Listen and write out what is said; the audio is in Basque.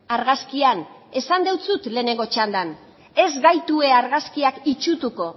argazkian esan dizut lehenengo txandan ez gaitu argazkiak itsutuko